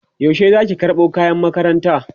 yaushe Zaki karɓo kayan makaranta?